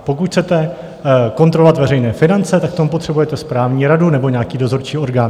Pokud chcete kontrolovat veřejné finance, tak k tomu potřebujete správní radu nebo nějaký dozorčí orgán.